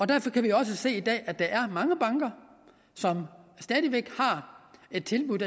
derfor kan vi også se i dag at der er mange banker som stadig væk har et tilbud